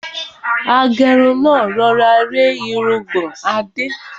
Agẹ́run náà rọra rẹ́ irungbọ̀n Adé.